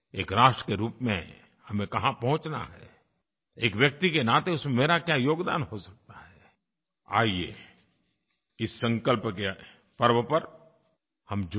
एक राष्ट्र के रूप में हमें कहाँ पहुंचना है एक व्यक्ति के नाते उसमें मेरा क्या योगदान हो सकता है आइए इस संकल्प के पर्व पर हम जुड़ें